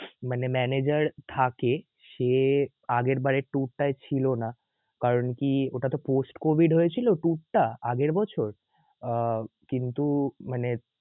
মানে manager থাকে সে আগের বারের tour টাই ছিল না কারন কি ওটা ত post COVID হয়েছিল tour টা আগের বছর আহ কিন্তু মানে